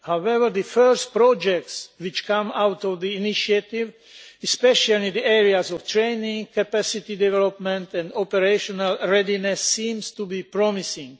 However, the first projects to come out of the initiative, especially in the areas of training, capacity development and operational readiness, seem to be promising.